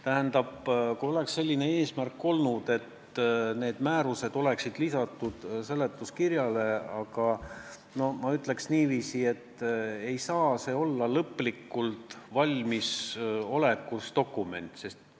Kui oleks olnud selline eesmärk, et need määrused oleksid lisatud seletuskirjale – noh, ma ütleks niiviisi, et see ei saa olla lõplikult valmis dokument.